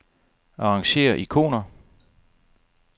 Arrangér ikoner.